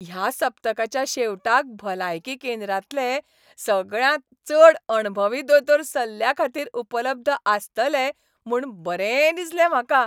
ह्या सप्तकाच्या शेवटाक भलायकी केंद्रांतले सगळ्यांत चड अणभवी दोतोर सल्ल्याखातीर उपलब्ध आसतले म्हूण बरें दिसलें म्हाका.